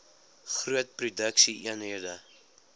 groot produksie eenhede